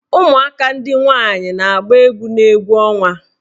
Ụmụaka ndị nwaanyị na-agba egwu n' egwu ọnwa.